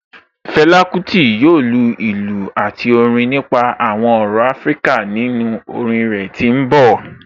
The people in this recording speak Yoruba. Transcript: Fela Kuti yoo lu ilu ati Orin nipa awọn ọrọ Afirika ninu orin rẹ ti n bọ